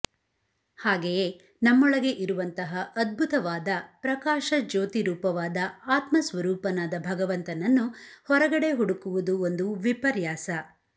ಹಾಗೆಯೇ ನಮ್ಮೊಳಗೆ ಇರುವಂತಹ ಅದ್ಭುತವಾದ ಪ್ರಕಾಶ ಜ್ಯೋತಿ ರೂಪವಾದ ಆತ್ಮಸ್ವರೂಪನಾದ ಭಗವಂತನನ್ನು ಹೊರಗಡೆ ಹುಡುಕುವುದು ಒಂದು ವಿಪರ್ಯಾಸ